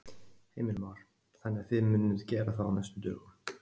Heimir Már: Þannig að þið munuð gera það á næstu dögum?